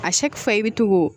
A fa i bɛ to k'o